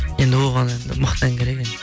енді оған енді мықты ән керек енді